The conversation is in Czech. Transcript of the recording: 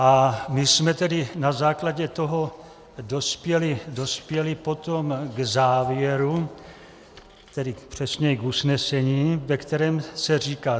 A my jsme tedy na základě toho dospěli potom k závěru, tedy přesněji k usnesení, ve kterém se říká: